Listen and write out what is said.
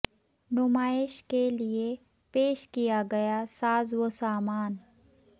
نمائش کے لئے پیش کیا گیا ساز و سامان